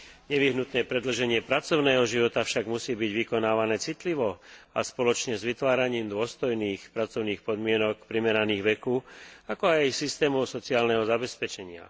Nevyhnutné predĺženie pracovného života však musí byť vykonávané citlivo a spoločne s vytváraním dôstojných pracovných podmienok primeraných veku, ako aj systémov sociálneho zabezpečenia.